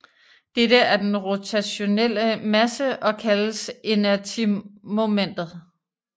Dette er den rotationelle masse og kaldes inertimomentet